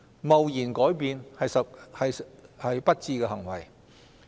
貿然改變是不智的行為。